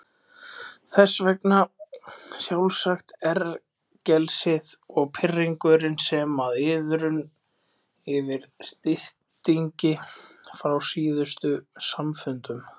Þess vegna sjálfsagt ergelsið og pirringurinn sem og iðrun yfir styttingi frá síðustu samfundum.